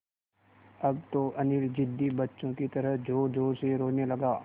अब तो अनिल ज़िद्दी बच्चों की तरह ज़ोरज़ोर से रोने लगा